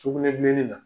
Sugunɛbilennin na